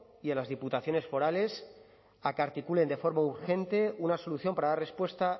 y a las diputaciones forales a que articulen de forma urgente una solución para dar respuesta